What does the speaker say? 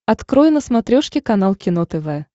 открой на смотрешке канал кино тв